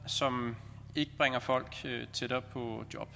som ikke bringer folk tættere på job